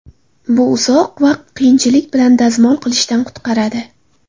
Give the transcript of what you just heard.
Bu uzoq vaqt qiyinchilik bilan dazmol qilishdan qutqaradi.